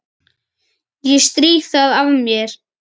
Ég strýk það af mér.